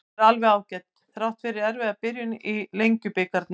Hún er alveg ágæt, þrátt fyrir erfiða byrjun í Lengjubikarnum.